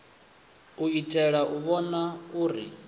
u itela u vhona uri